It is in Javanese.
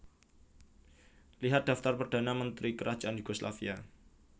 Lihat Daftar Perdana Menteri Kerajaan Yugoslavia